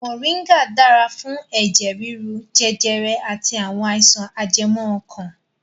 Moringa dára fún ẹ̀jẹ̀ rírú, jẹjẹrẹ àti àwọn àìsàn ajẹmọ́ ọkàn